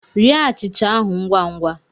Rie achịcha ahụ ngwa ngwa!